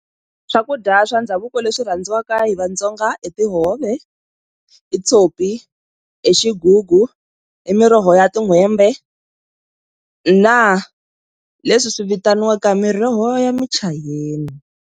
Swakudya swa ndhavuko leswi rhandziwaka hi Vatsonga i tihove, i tshopi, i xigugu, i miroho ya tin'hwembe na leswi swi vitaniwaka miroho ya michayeni.